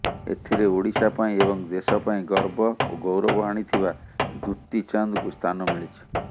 ଏଥିରେ ଓଡ଼ିଶା ପାଇଁ ଏବଂ ଦେଶ ପାଇଁ ଗର୍ବ ଓ ଗୌରବ ଆଣିଥିବା ଦୂତୀ ଚାନ୍ଦଙ୍କୁ ସ୍ଥାନ ମିଳିିଛି